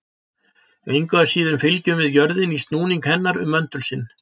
Engu að síður fylgjum við jörðinni í snúningi hennar um möndul sinn.